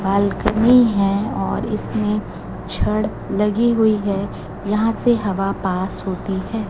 Balcony है और इसमें छड़ लगी हुई है यहां से हवा पास होती है।